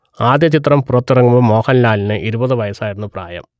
ആദ്യ ചിത്രം പുറത്തിറങ്ങുമ്പോൾ മോഹൻലാലിന് ഇരുപത് വയസ്സായിരുന്നു പ്രായം